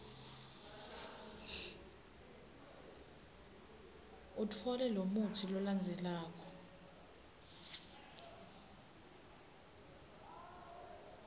utfole lomutsi lolandzelako